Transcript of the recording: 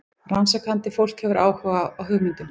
Rannsakandi fólk hefur áhuga á hugmyndum.